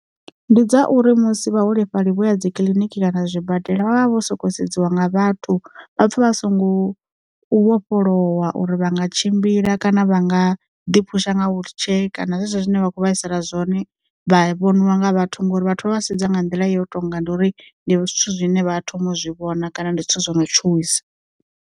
Ndi dza uri musi vha holefhali vhoya dzi kiḽiniki kana zwi badela vhavha vho sokou sedziwa nga vhathu vha pfha vha songo vhofholowa uri vha nga tshimbila kana vha nga ḓi phusha nga wheelchair, kana zwezwo zwine vha kho vhaisala zwone vha vhoniwa nga vhathu ngori vhathu vha sedza nga nḓila yo tonga ndi uri ndi zwithu zwine vha thoma u zwi vhona kana ndi zwithu zwo no tshuwisa.